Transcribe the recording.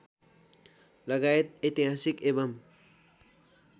लगायत ऐतिहासिक एवम्